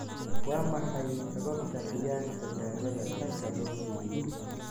waa maxay sababta qiyaasta daawada sanka loo geliyo?